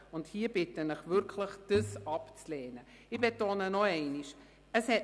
Ich bitte Sie wirklich, dies abzulehnen, und ich betone es noch einmal: